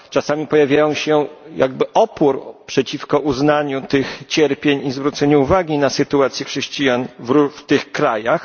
Czasami pojawia się jakby opór przeciwko uznaniu tych cierpień i zwróceniu uwagi na sytuację chrześcijan w tych krajach.